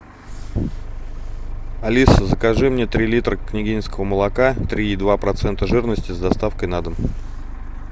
алиса закажи мне три литра княгининского молока три и два процента жирности с доставкой на дом